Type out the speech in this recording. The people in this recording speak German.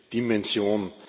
Dimension.